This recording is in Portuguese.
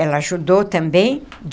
Ela ajudou também.